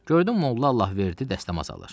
Gördüm molla Allahverdi dəstəmaz alır.